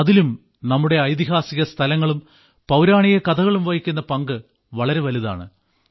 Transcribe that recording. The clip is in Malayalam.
അതിലും നമ്മുടെ ഐതിഹാസിക സ്ഥലങ്ങളും പൌരാണിക കഥകളും വഹിക്കുന്ന പങ്ക് വളരെ വലുതാണ്